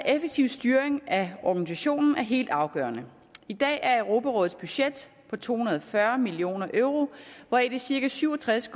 effektiv styring af organisationen er helt afgørende i dag er europarådets budget på to hundrede og fyrre million euro hvoraf de cirka syv og tres